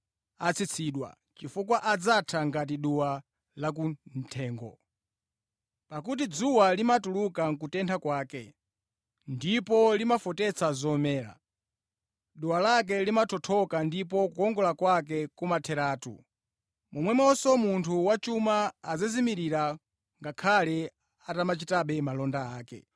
Pakuti dzuwa limatuluka nʼkutentha kwake, ndipo limafotetsa zomera. Duwa lake limathothoka ndipo kukongola kwake kumatheratu. Momwemonso munthu wachuma adzazimirira ngakhale atamachitabe malonda ake.